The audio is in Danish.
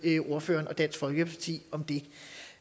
ordføreren og dansk folkeparti om det